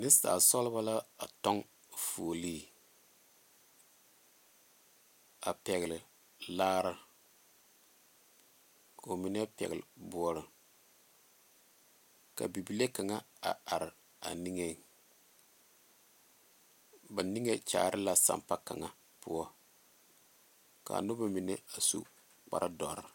Nensaalba sɔglo la a tɔŋ fooli a pegle laare ko mine pegle boɔre ka bibile kaŋa a are a niŋe ba niŋe kaara la sanpa kaŋa poɔ ka noba mine a su kpare doɔre.